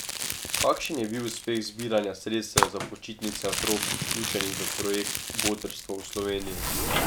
Kakšen je bil uspeh zbiranja sredstev za počitnice otrok, vključenih v projekt Botrstvo v Sloveniji?